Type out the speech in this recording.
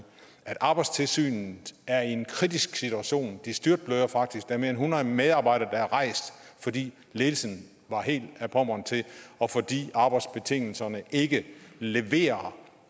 at arbejdstilsynet er i en kritisk situation de styrtbløder faktisk der er mere end hundrede medarbejdere der er rejst fordi ledelsen var helt ad pommern til og fordi arbejdsbetingelserne ikke leverer